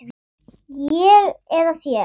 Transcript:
Ég eða þér?